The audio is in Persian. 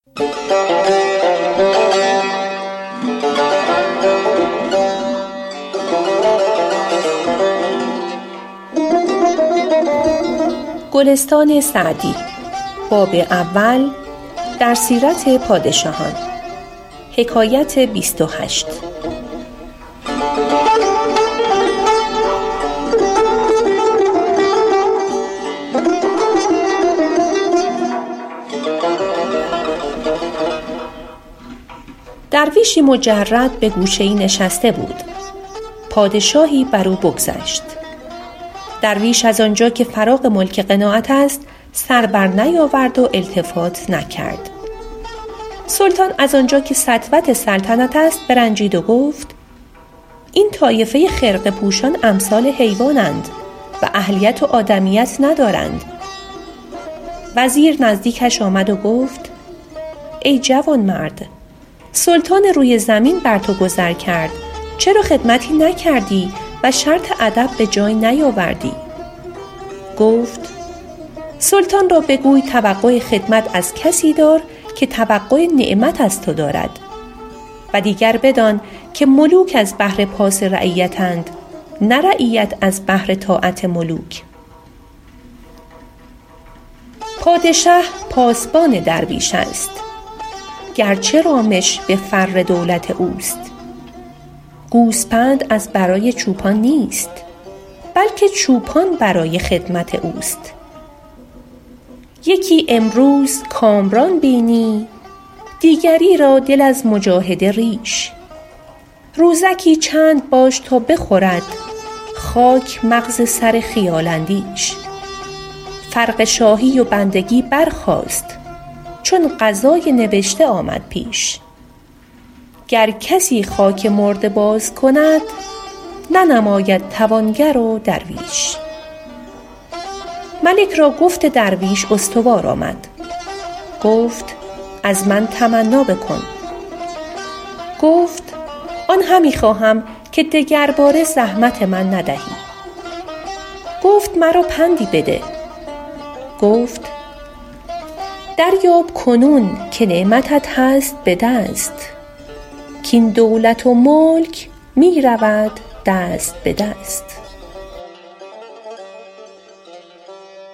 درویشی مجرد به گوشه ای نشسته بود پادشاهی بر او بگذشت درویش از آنجا که فراغ ملک قناعت است سر بر نیاورد و التفات نکرد سلطان از آنجا که سطوت سلطنت است برنجید و گفت این طایفه خرقه پوشان امثال حیوان اند و اهلیت و آدمیت ندارند وزیر نزدیکش آمد و گفت ای جوانمرد سلطان روی زمین بر تو گذر کرد چرا خدمتی نکردی و شرط ادب به جای نیاوردی گفت سلطان را بگوی توقع خدمت از کسی دار که توقع نعمت از تو دارد و دیگر بدان که ملوک از بهر پاس رعیت اند نه رعیت از بهر طاعت ملوک پادشه پاسبان درویش است گرچه رامش به فر دولت اوست گوسپند از برای چوپان نیست بلکه چوپان برای خدمت اوست یکی امروز کامران بینی دیگری را دل از مجاهده ریش روزکی چند باش تا بخورد خاک مغز سر خیال اندیش فرق شاهی و بندگی برخاست چون قضای نبشته آمد پیش گر کسی خاک مرده باز کند ننماید توانگر و درویش ملک را گفت درویش استوار آمد گفت از من تمنا بکن گفت آن همی خواهم که دگرباره زحمت من ندهی گفت مرا پندی بده گفت دریاب کنون که نعمتت هست به دست کاین دولت و ملک می رود دست به دست